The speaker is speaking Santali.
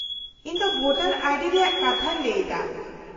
-ᱤᱧ ᱫᱚ ᱵᱷᱳᱴᱟᱨ ᱟᱭᱰᱤ ᱨᱮᱭᱟᱜ ᱠᱟᱛᱷᱟᱧ ᱞᱟᱹᱭ ᱮᱫᱟ ᱾